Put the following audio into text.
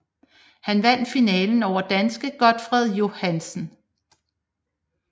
Han vandt finalen over danske Gotfred Johansen